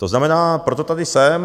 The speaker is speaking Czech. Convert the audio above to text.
To znamená, proto tady jsem.